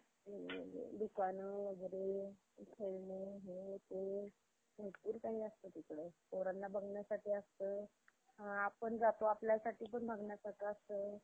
दुकानं वगैरे, खेळणे हे ते भरपूर काही असतं तिकडं. पोरांना बघण्यासाठी असतं. आपण जातो. आपल्यासाठी पण बघण्यासाठी असतं.